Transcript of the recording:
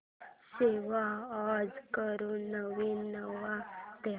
save as करून नवीन नाव दे